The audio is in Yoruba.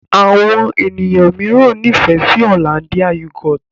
Àwọn ènìyàn míràn n'ifẹ sí Hollandia yoghurt.